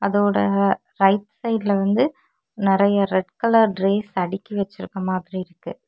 அதோட ரைட் சைடுல வந்து நறைய ரெட் கலர் ட்ரேஸ் அடுக்கி வைச்சிருக்கிற மாரி இருக்கு.